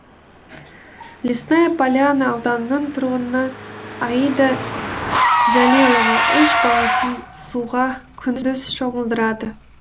лесная поляна ауданының тұрғыны аида жәлелова үш баласын суға күндіз шомылдырады